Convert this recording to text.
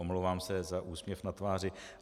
Omlouvám se za úsměv na tváři.